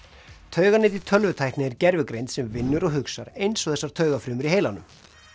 tauganet í tölvutækni er gervigreind sem vinnur og hugsar eins og þessar taugafrumur í heilanum